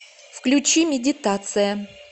включи медитация